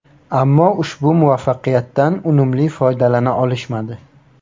Ammo ushbu muvaffaqiyatdan unumli foydalana olishmadi.